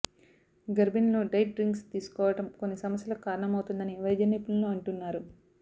గర్భిణులు diet drinks తీసుకోవడం కొన్ని సమస్యలకు కారణమవుతుందని వైద్య నిపుణులు అంటున్నారు